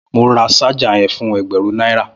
Mó rà ṣàjá yèn fún ẹgbẹrùn naira